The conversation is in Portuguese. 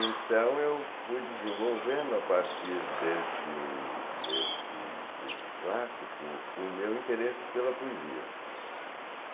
Então, eu fui desenvolvendo, a partir deste deste curso clássico, o meu interesse pela poesia.